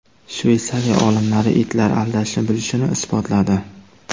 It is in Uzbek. Shveysariya olimlari itlar aldashni bilishini isbotladi.